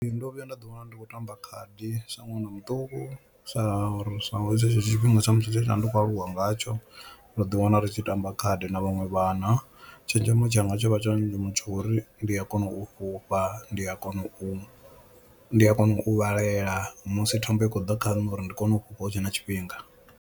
Ndo vhuya nda ḓi wana ndi khou tamba khadi sa ṅwana muṱuku sa ri sa tshetsho tshifhinga tshe tsha ndi khou aluwa ngatsho ra ḓi wana ri tshi tamba khadi na vhaṅwe vhana. Tshenzhemo tshanga tsho vha tsho ndi muthu wo ri ndi a kona u fhufha, ndi a kona u ndi a kona u vhalela musi thambo i khou ḓa kha na uri ndi kone u fhufha hutshe na tshifhinga.